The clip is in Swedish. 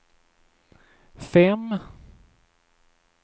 fem